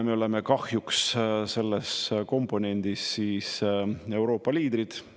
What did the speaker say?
Me oleme kahjuks selles komponendis Euroopa liidrid.